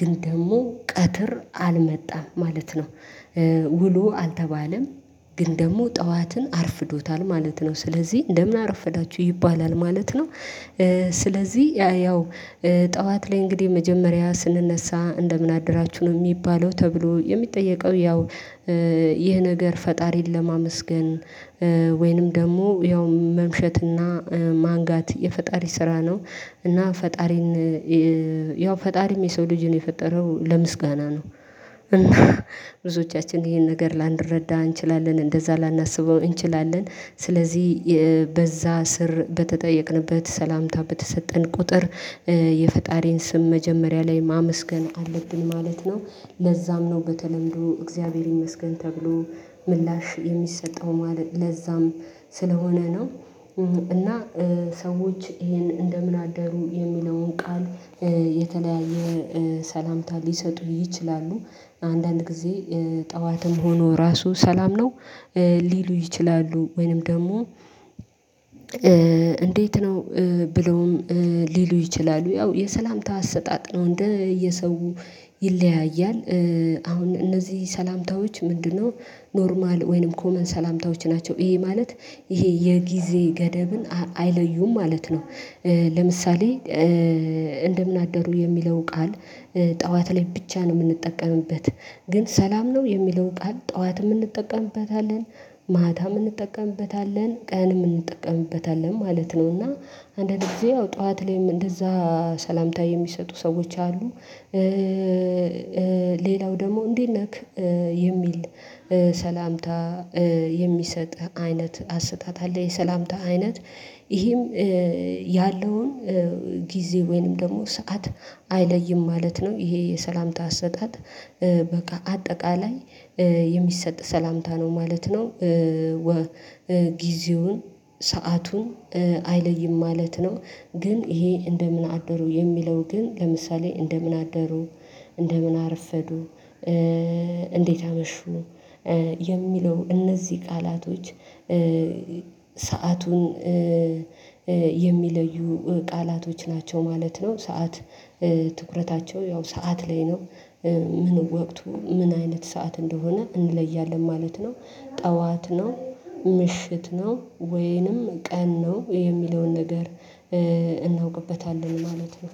ግን ደግሞ ቀትር አልመጣም ማለት ነው። ውሎ አልተባለም ግን ደግሞ ጠዋትን አርፍዶታል ማለት ነው ስለዚህ እንደምን አረፈዳችሁ ይባላል ማለት ነው። ስለዚህ ያው ጠዋት ላይ እንግዲህ መጀመሪያ ስንነሳ እንደምን አደራችሁ ነው የሚባለው ተብሎ የሚጠየቀው ያው። ይህ ነገር ፈጣሪን ለማመስገን ወይንም ደግሞ ያው መምሸትና ማንጋት የፈጣሪ ስራ ነው። እና ፈጣሪን ያው ፈጣሪም የሰው ልጅን የፈጠረው ለምስጋና ነው። እና ብዝወቻችን ይህን ነገር ላንረዳ እንቺላለን እንደዛ ላናስበው እንቺላለን። ስለዚህ በዛስር በተጠየቅንበት ሰላምታ በተሰጠን ቁጥር የፈጣሪን ስም መጀመሪያ ላይ ማመስገን አለብን ማለት ነው። ለዛም ነው በተለምዶ እግዚአብሔር ይመስገን ተብሎ ምላሽ የሚሰጠው ለዛም ስለሆነ ነው። እና ሰወቺ ይህን እንደምን አደሩ የሚለውን ቃል የተለያየ ሰላምታ ሊሰጡ ይቺላሉ። አንዳንድ ግዜ ጥዋትም ሆኖ ራሱ ሰላም ነው። ሊሉ ይቺላሉ ወይንም ደግሞ እንዴት ነው ብለውም ሊሉ ይቺላሉ። ያው የሰላምታ አሰጣጥ ነው እንደየሰው ይለያያል። አሁን እነዚህ ሰላምታወቺ ምንድን ነው? ኖርማል ወይንም ኮመን ሰላምታወቺ ናቸው ይህ ማለት ይሄ የግዜ ገደብን አይለዬም ማለት ነው። ለምሳሌ እንደምን አደሩ የሚለው ቃል ጥዋት ላይ ብቻ ነው የምንጠቀምበት። ግን ሰላም ነው የሚለው ቃል ጥዋትም እንጠቀምበታለን ማታም እንጠቀምበታለን ቀንም እንጠቀሞበታለን ማለት ነው። እና አንዳንድ ግዜ ያው ጥዋት ላይም እንደዛ ሰላምታ የሚሰጡ ሰወወቺ አሉ። ሌላው ደግሞ እንዴት ነህ? የሚል ሰላምታ የሚሰጥ አይነት አሰጣጥ አለ የሰላምታ አይነት ይሄም የለውን ጊዜ ወይንም ደግሞ ሰዓት አይለይም ማለት ነው። ይህ የሰላምታ አሰጣጥ በቃ አጠቃላይ የሚሰጥ ሰላምታ ነው። ጊዜውን ስዓቱን አይለይም ማለት ነው። ግን ይሄ እንደምን አደሩ የሚለው ግን ለምሳሌ እንደምን አደሩ? እንደምን አርፈድ? እንዴት አመሹ? የሚለው እነዚ ቃላቶቺ ስዓቱን የሚለዩ ቃላቶቺ ናቸው ማለት ነው። ስዓት ትኩረታቸው ያው ስዓት ላይ ነው። ምኑን ወቅቱን ምን አይነት ሰዓት እንደሆነ እንደሆነ እንለያለን ማለት ነው። ጥዋት ነው ምሽት ነው ወይንም ቀን ነው የሚለውን ነገር እናውቅበታለን ማለት ነው።